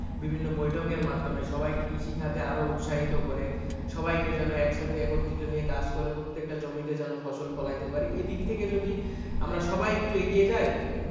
বিভিন্ন বৈঠকের মাধ্যমে সবাইকে কৃষিকাজে আরো উৎসাহিত করে সবাইকে যেন একসাথে একত্রিত নিয়ে কাজ করে প্রত্যেকটা জমিতে ফসল ফলাইতে পারি এদিক থেকে যদি সবাই একটু এগিয়ে যাই,